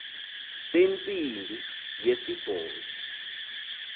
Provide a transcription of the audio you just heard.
sentsi mbi yesibhozo